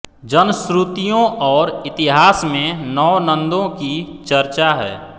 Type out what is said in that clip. जनश्रुतियों और इतिहास में नौ नंदों की चर्चा है